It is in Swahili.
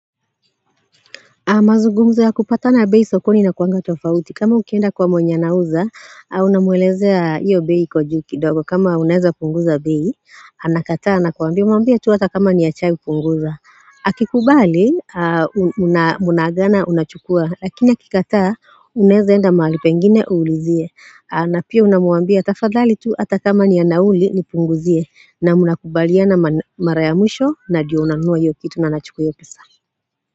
Mazugumzo ya kupatana bei sokoni inakuanga tofauti. Kama ukienda kwa mwenye anauza, unamuelezea hiyo bei iko juu kidogo. Kama unaeza punguza bei, anakataa, anakuambia. Muambia tu hata kama ni ya chai punguza. Akikubali, mnaagana unachukua. Lakini akikataa, unaeza enda mahali pengine, uulizie. Na pia unamuambia, tafadhali tu hata kama ni nauli, nipunguzie. Na mnakubaliana mara ya mwisho, na ndiyo unanunua hiyo kitu na anachukua hiyo pesa.